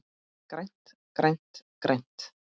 GRÆNT, GRÆNT, GRÆNT.